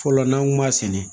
Fɔlɔ n'an kun b'a sɛnɛ